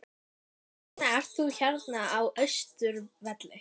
Hvers vegna ert þú hérna á Austurvelli?